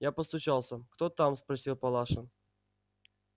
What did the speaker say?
я постучался кто там спросила палаша